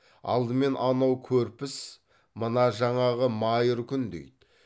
алдымен анау көрпіс мына жаңағы майыр күндейді